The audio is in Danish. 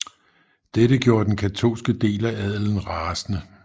Dette gjorde den katolske del af adelen rasende